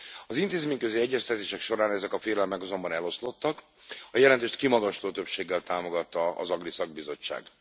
Az intézményközi egyeztetések során ezek a félelmek azonban eloszlottak, a jelentést kimagasló többséggel támogatta az AGRI szakbizottság.